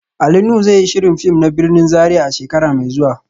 Ali Nuhu zai yi shirin fim na birnin Zaria a shekara mai zuwa